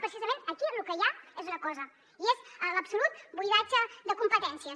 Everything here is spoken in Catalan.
precisament aquí lo que hi ha és una cosa i és l’absolut buidatge de competències